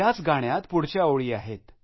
त्याच गाण्यात पुढच्या ओळी आहेत